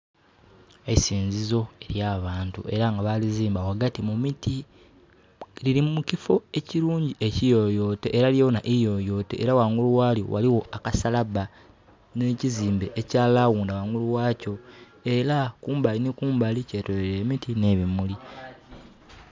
Eisinzizo elya bantu era nga balizimba ghagati mu miti. Lili mu kiffo ekirungi ekiyoyote era lyona iiyoyote era gaigulu ghalyo ghaligho akasalaba nhe kizimbe ekya laghunda ghangulu ghakyo. Era kumbali ni kumbali kyetolweilwa emiti nhe bimuli.